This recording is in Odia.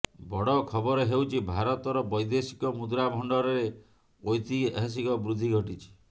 ବଡ ଖବର ହେଉଛି ଭାରତର ବୈଦେଶିକ ମୁଦ୍ରା ଭଣ୍ଡାରରେ ଐତିହାସିକ ବୃଦ୍ଧି ଘଟିଛି